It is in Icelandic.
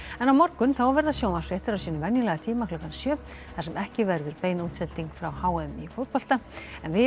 á morgun verða sjónvarpsfréttir á sínum venjulega tíma klukkan sjö þar sem ekki verður bein útsending frá h m í fótbolta en við